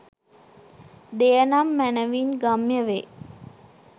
දෙය නම් මැනවින් ගම්‍ය වේ